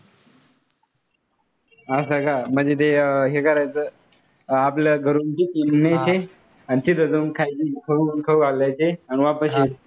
असं का? म्हणजे ते हे करायचं आपल्या घरून न्यायचे आह आणि तिथे जाऊन खायचे, खाऊन खाऊन आणि वापस यायचे.